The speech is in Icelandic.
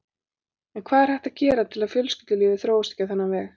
En hvað er hægt að gera til að fjölskyldulífið þróist ekki á þennan veg?